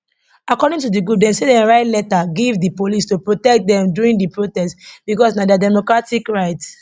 according to di group dem say dem write letter give di police to protect dem during di protest becos na dia democratic right